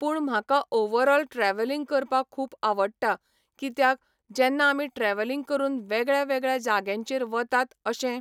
पूण म्हाका overall travelling करपाक खूब आवडटा कित्याक जेन्ना आमी ट्रॅवलिंग करून वेगळ्या वेगळ्या जाग्यांचेर वतात, अशे